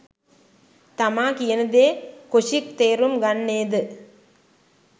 තමා කියනදේ කොෂික් තේරුම් ගන්නේ ද